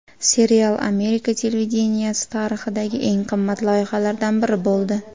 Serial Amerika televideniyesi tarixidagi eng qimmat loyihalardan biri bo‘ldi.